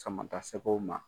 Sama ta sɛgɛw ma.